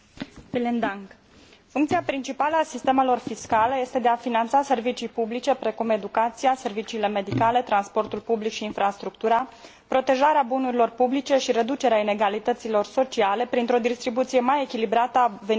Funcția principală a sistemelor fiscale este de a finanța servicii publice precum educația, serviciile medicale, transportul public și infrastructura, protejarea bunurilor publice și reducerea inegalităților sociale printr o distribuție mai echilibrată a veniturilor și a bogăției.